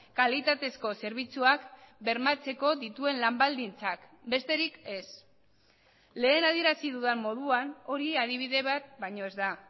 kalitatezko zerbitzuak bermatzeko dituen lan baldintzak besterik ez lehen adierazi dudan moduan hori adibide bat baino ez da